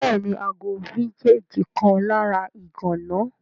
Béèni, ago vintage kan lára ìgana